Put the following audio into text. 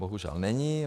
Bohužel není.